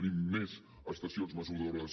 tenim més estacions mesuradores